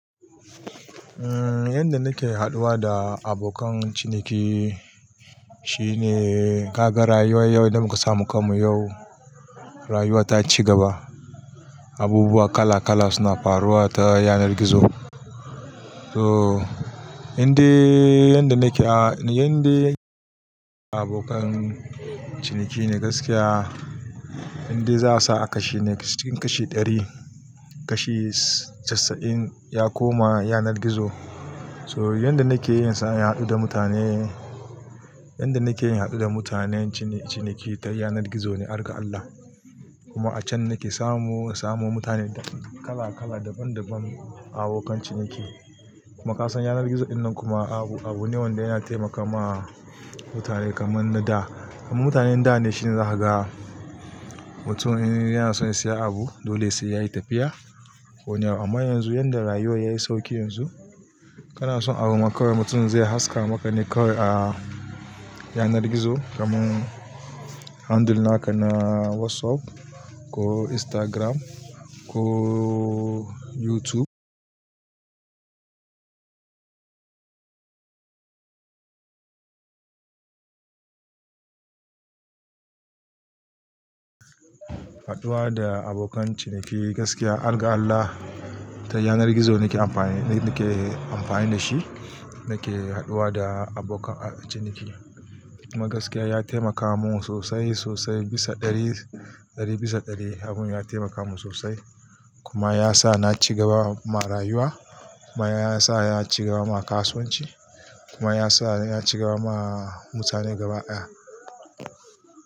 Eh, yanda nake haɗuwa da abokan ciniki shine kaga rayuwar yau da muka samu kan mu yau, rayuwa ta ci gaba. Abubuwa kala kala suna faruwa ta yanar gizo. So indai, yanda nake a, yande abokan ciniki ne gaskiya, indai za a sa kashi ne cikin kashi ɗari, kashi casa'in ya koma yanar gizo. So yanda nake yinsa ya haɗu da mutane, yanda nake yin haɗu da mutanen ciniki ta yanar gizo ne, harga Allah. Kuma a can nake samu, samu mutane kala kala daban daban abokan ciniki. Kuma kasuwar yanar gizo dinnan kuma abu, abu ne wanda yana taimaka ma mutane kaman na da. Mutanen da ne shine za ka ga mutum yana son ya siya abu, dole sai yayi tafiya ko wane. Amma yanzu yanda rayuwa yayi sauki yanzu, kana son abu ma kawai mutum zai haska maka ne kawai a yanar gizo. Kaman handle naka na WhatsApp ko Instagram ko YouTube. Haɗuwa da abokan ciniki gaskiya, harga Allah ta yanar gizo nake amfani, nake amfani da shi. Nake haɗuwa da abokan ciniki. Kuma gaskiya ya taimaka mun sosai sosai bisa ɗari, ɗari bisa ɗari abun ya taimaka mun sosai. Kuma ya sa na ci gaba ma rayuwa. Kuma ya sa na ci gaba ma kasuwanci. Kuma ya sa na ci gaba ma mutane gaba ɗaya.